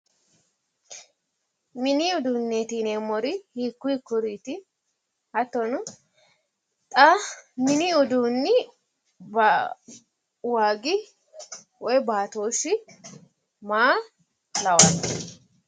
Mini uduunneeti yineemmori hiikku hiikkuriiti? hattono mini uduunni waagi woti baatooshi maa lawanno?